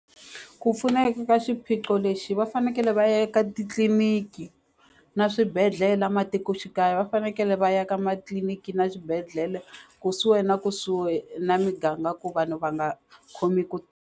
Ku pfuneka ka xiphiqo lexi va fanekele va ya eka titliliniki na swibedhlele a matikoxikaya va fanekele va ya ka matliliniki na xibedhlele kusuhi na kusuhi na muganga ku vanhu va nga khomi ku.